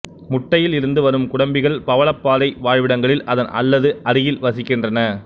முட்டையில் இருந்து வரும் குடம்பிகள் பவளப்பாறை வாழ்விடங்களில் அதன் அல்லது அருகில் வசிக்கின்றன